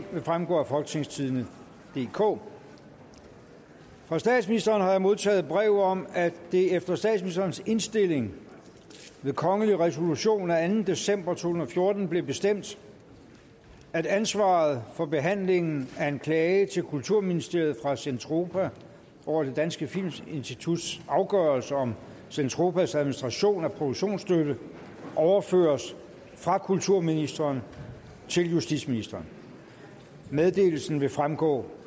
vil fremgå af folketingstidende DK fra statsministeren har jeg modtaget brev om at det efter statsministerens indstilling ved kongelig resolution af anden december to tusind og fjorten blev bestemt at ansvaret for behandlingen af en klage til kulturministeriet fra zentropa over det danske filminstituts afgørelse om zentropas administration af produktionsstøtte overføres fra kulturministeren til justitsministeren meddelelsen vil fremgå